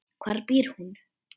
Hvar býr hún?